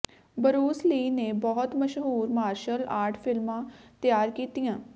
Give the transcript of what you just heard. Bruce Lee ਨੇ ਬਹੁਤ ਮਸ਼ਹੂਰ ਮਾਰਸ਼ਲ ਆਰਟ ਫਿਲਮਾਂ ਤਿਆਰ ਕੀਤੀਆਂ